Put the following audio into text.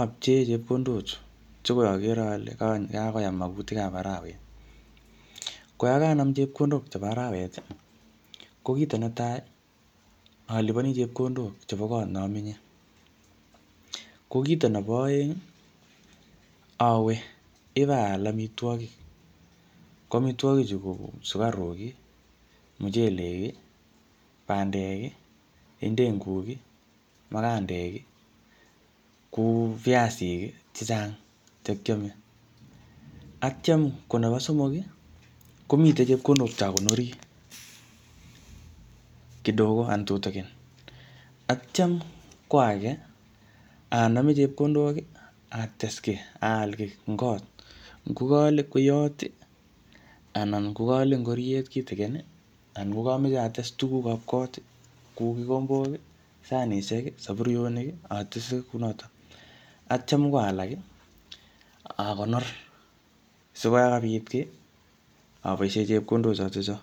apchee chepkondok chu. Che koi agere ale kakoyam mwagutik ab arawet. Ko yakanam chepkondok chebo arawet, ko kito netai, alipani chepkondok chebo kot ne amenye. Ko kiito nebo aeng, awe ibaal amitwogik. Ko amitwogik chu ko sukaruk, mchelek, bandek, ndenguk, makandek, kou piasik chechang che kiame. Atyam ko nebo somok, komite chepkondok che akonori kidogo anan tutikin. Atyam ko age, aname chepkondok, ates kiy, aal kiy eng kot. Ngo kaale kweiyot, anan ngo kaale ngoryet kitikin, anan ngo kameche atese tugukab kot, kou kikombok, sanishek, saburionik, atese kunotok. Atyam ko alak, akonor. Sikoyakabit kiy, aboisie chepkondok chotocho